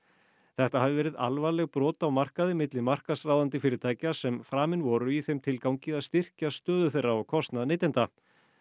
þetta hafi verið alvarlegt brot á markaði milli markaðsráðandi fyrirtækja sem framin voru í þeim tilgangi styrkja stöðu þeirra á kostnað neytenda